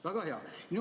Väga hea!